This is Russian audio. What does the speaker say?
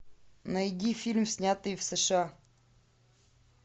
найди фильм снятый в сша